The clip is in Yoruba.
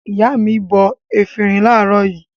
Ìyá mi bọ efirin láàárọ̀ yìí.